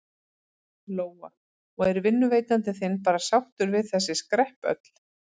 Lóa: Og er vinnuveitandi þinn bara sáttur við þessi skrepp öll?